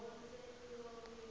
yaseningizimu